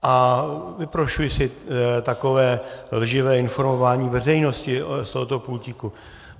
A vyprošuji si takové lživé informování veřejnosti od tohoto pultíku.